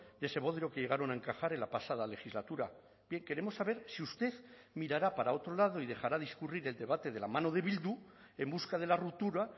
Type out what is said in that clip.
de ese modelo que llegaron a encajar en la pasada legislatura queremos saber si usted mirará para otro lado y dejará discurrir el debate de la mano de bildu en busca de la ruptura